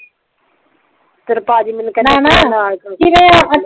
ਤੇਰੇ ਪਾਜੀ ਮੈਂਨੂੰ ਕਿਹੰਦੇ